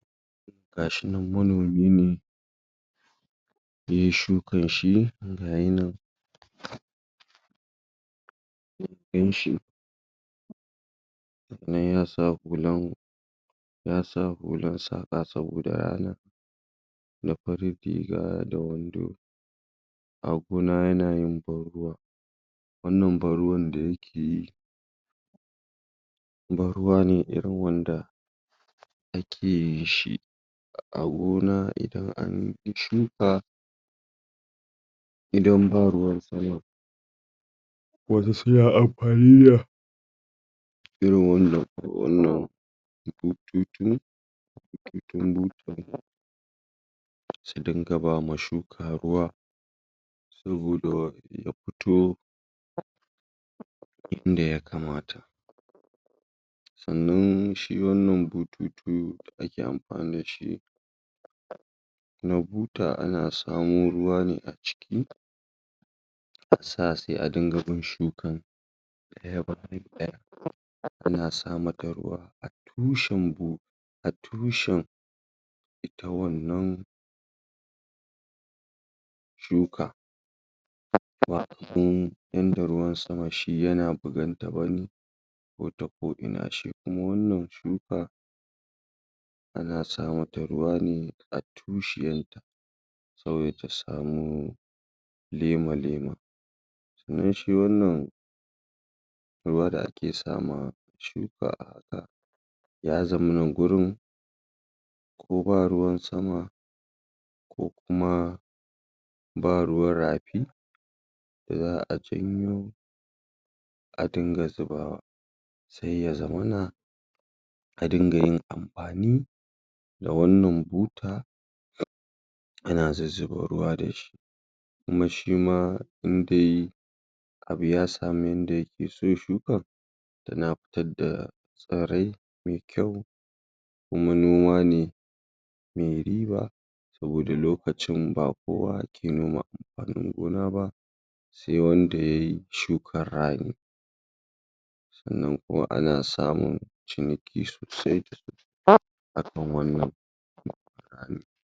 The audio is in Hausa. Ga shi nan manomi ne yai shukan shi gayi nan ɗin shi dan yasa hulan yasa hulan saƙa saboda rana da farin riga da wando a gona yana yin ban ruwa wannan ban ruwan da yake yi ban ruwa ne irin wanda ake yin shi a gona idan anyi shuka idan ba ruwan sama wasu suna amfani da irin wannan ko wannan bututu su dinga ba ma shuka ruwa saboda ya fito a inda yakamata sannan shi wannan bututu da ake amfani da shi na buta ana samo ruwa ne a ciki a sa sai a dinga bin shuka yana samar da ruwa tushen bu a tushen ita wannan shuka wanda ruwan sama shi yana bugan ta wanda ko'ina shi kuma wannan shuka ana sa mata ruwa ne a tushiyan saboda ta samu lema-lema dan shi wannan ruwa da ake sa ma shuka a haka ya zama na gurin ko ba ruwan sama ko kuma ba ruwan rafi da za'a janyo a dinga zubawa se ya zamana a dinga yin amfani da wannan buta ana zuzzuba ruwa da shi kuma shi ma ɗin dai abu ya samu yanda yake so shukan tana fitar da tsirai me kyau kuma noma ne me riba saboda lokacin ba kowa ke noma amfanin gona ba se wanda yai shukan rani sannan kuma ana samun ciniki sosai da sosai akan wannan noman.